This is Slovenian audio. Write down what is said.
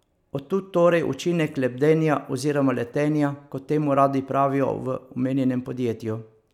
Od tu torej učinek lebdenja oziroma letenja, kot temu radi pravijo v omenjenem podjetju.